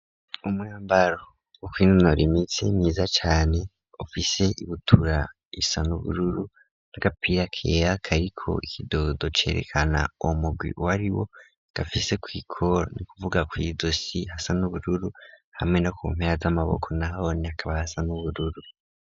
Umwambaro wo kwinonoro imitsi myiza cane ufise ibutura isa n'ubururu n'agapira kera kariko ikidodo, cerekana uwo mugwi w ariwo gafise kwikoro ni kuvuga ku iyizosi gasa n'ubururu hamwe no ku mpera z'amaboko naho ni akaba hasa n'ubururu.